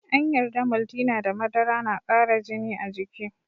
An yarda Maltina da madara na kara jini a jiki.